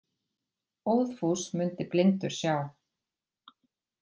Óðfús mundi blindur sjá.